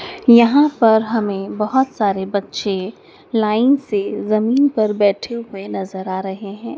यहां पर हमें बहोत सारे बच्चे लाइन से जमीन पर बैठे हुए नजर आ रहे हैं।